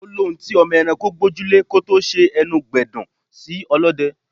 Ó lóhùn tí ọmọ ẹranko gbójú lè kó tó ṣe ẹnu gbẹdun sí ọlọ́dẹ.